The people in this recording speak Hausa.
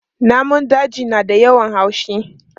Namun daji na da yawan haushi.